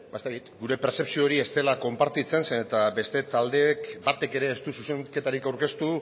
gure pertzepzio hori ez dela konpartitzen zeren eta beste talde batek ere ez du zuzenketarik aurkeztu